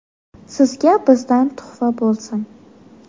Sizga bizdan tuhfa bo‘lsin!